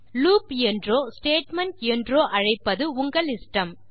loop என்றோ statement என்றோ அழைப்பது உங்கள் இஷ்டம்